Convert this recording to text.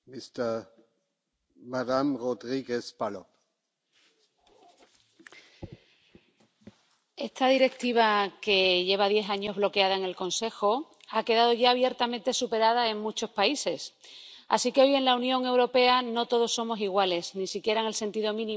Señor presidente, esta Directiva —que lleva diez años bloqueada en el Consejo— ha quedado ya abiertamente superada en muchos países. Así que hoy en la Unión Europea no todos somos iguales, ni siquiera en el sentido mínimo que plantea la Directiva.